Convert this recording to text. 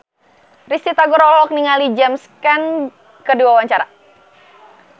Risty Tagor olohok ningali James Caan keur diwawancara